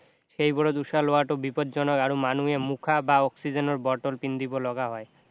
সেইবোৰত উশাহ লোৱাটো বিপদজনক আৰু মানুহে মুখা বা অক্সিজেনৰ বটল পিন্ধিব লগা হয়